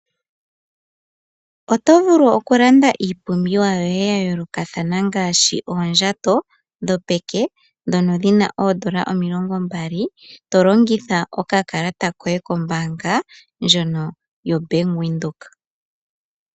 Otovulu okulanda iipumbiwa yoye yayoolokathana ngaashi, oondjato dhopeke dhono dhina oondola omilongo mbali. Tolongitha okakalata koye ko mbaanga ndjono yo Bank Windhoek.